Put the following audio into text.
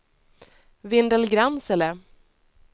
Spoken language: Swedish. Vindelgransele